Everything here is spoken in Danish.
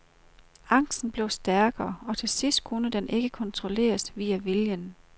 Angsten blev stærkere, og til sidst kunne den ikke kontrolleres via viljen.